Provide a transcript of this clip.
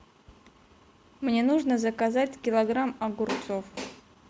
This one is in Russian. мне нужно заказать килограмм огурцов